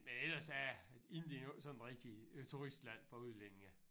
Men ellers er Indien jo ikke sådan rigtigt et turistland for udlændinge